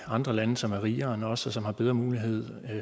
andre lande som er rigere end os og som har bedre mulighed